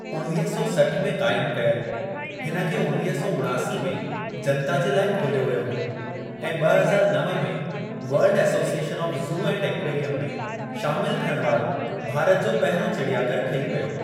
उणवीह सौ सठ में क़ाइमु कयलु, हिन खे उणवीह सौ उणासी में जनता जे लाइ खोलियो वियो हो ऐं ॿ हज़ार नव में world association of zoo and aquarium में शामिलु थियणु वारो भारत जो पहिरियों चिड़ियाघरु ठही पियो।